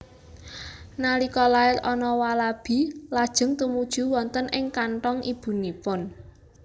Nalika lair anak walabi lajeng tumuju wonten ing kanthong ibunipun